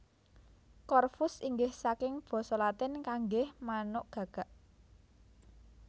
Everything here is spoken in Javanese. Corvus inggih saking basa Latin kanggé manuk gagak